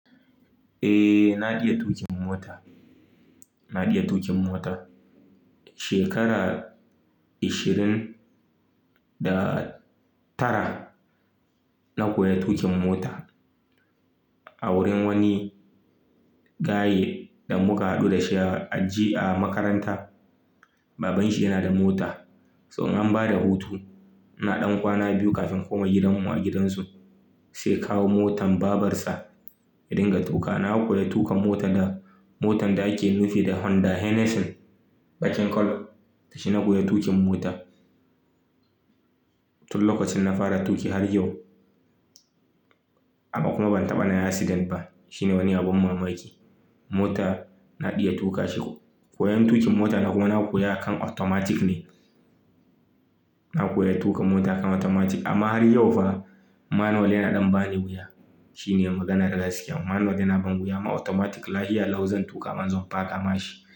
Eh naiya tuƙin mota, naiya tuƙin mota. Shekara 20 da tara na koya tuƙin mota a wurin wani gaye da muka haɗu dashi a aji a makaranta. Babanshi yana da mota. Tun an bada hutu, na ɗan kwana biyu kafin kuma gidanmu a gidansu sai kawo motan babarsa in dinga tuƙa. Na koya tuƙan mota da motan da ake nufi da Honda Hennessyn baƙin kallo. Da shi na koya tuƙin mota. Tun lokacin na fara tuƙi har yau. Amma kuma ban taɓa na accident ba. Shine wani abin mamaki. Mota na iya tuƙa shi ko. Koyan tuƙin mota na kuma na koya a kan automatic ne. Na koya tuƙin mota a kan automatic amma har yau fa manual yana ɗan bani wuya. Shine magana da gaske. Manual yana ban wuya amma automatic lahia law zan tuƙa man zan faka mashi.